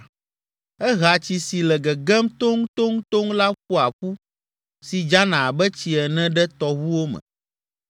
“Ehea tsi si le gegem toŋtoŋtoŋ la ƒoa ƒu, si dzana abe tsi ene ɖe tɔʋuwo me,